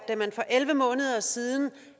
man for elleve måneder siden